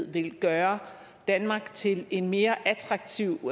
vil gøre danmark til en mere attraktiv